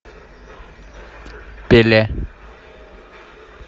пеле